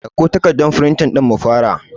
Ɗauko takardan firintin ɗin mu fara